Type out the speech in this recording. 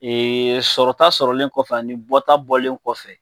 Ee sɔrɔta sɔrɔlen kɔfɛ ani bɔ ta bɔlen kɔfɛ